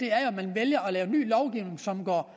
er jo at man vælger at lave ny lovgivning som går